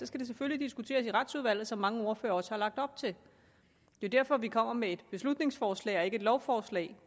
skal det selvfølgelig diskuteres i retsudvalget som mange ordførere også har lagt op til det er derfor vi kommer med et beslutningsforslag og ikke et lovforslag